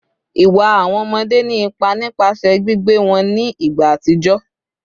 Iwa awọn ọmọde ni ipa nipasẹ gbigbe wọn ni igba atijọ